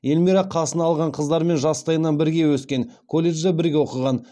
эльмира қасына алған қыздармен жастайынан бірге өскен колледжде бірге оқыған